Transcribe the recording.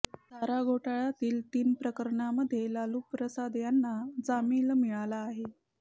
चारा घोटाळ्यातील तीन प्रकरणांमध्ये लालूप्रसाद यांना जामीन मिळाला आहे